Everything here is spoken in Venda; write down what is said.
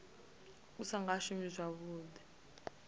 u sa nga shumi zwavhuḓi